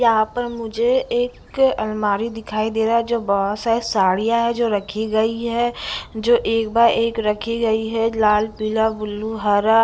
यहाँ पर मुझे एक अलमारी दिखाई दे रहा है जो बहुत सारी साड़ियाँ हैं जो रखी गई हैं जो एक बाय एक रखी गई हैं लाल पीला ब्लू हरा--